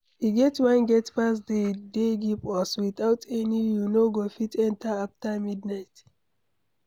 E get one gate pass de dey give us, without am you no go fit enter after midnight.